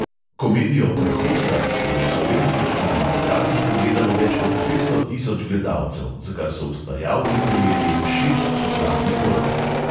Komedijo pr hostar si je v slovenskih kinematografih ogledalo več kot dvesto tisoč gledalcev, za kar so ustvarjalci prejeli šest zlatih rol.